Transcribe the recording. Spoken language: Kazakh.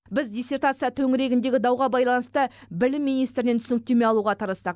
біз диссертация төңірегіндегі дауға байланысты білім министрінен түсініктеме алуға тырыстық